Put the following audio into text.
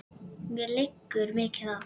Mér liggur mikið á!